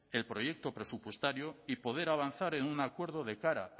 el proyecto presupuestario y poder avanzar en un acuerdo de cara